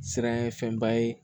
Siran ye fɛnba ye